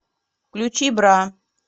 включи бра